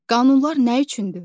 Qanunlar nə üçündür?